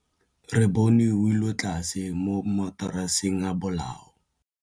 Re bone wêlôtlasê mo mataraseng a bolaô.